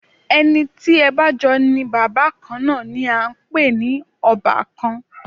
Ẹni tí ẹ bá jọ ní bàbá kan náà ni à ń pè ní ọbàkan